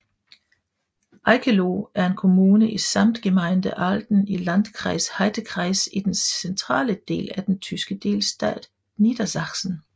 Eickeloh er en kommune i Samtgemeinde Ahlden i Landkreis Heidekreis i den centrale del af den tyske delstat Niedersachsen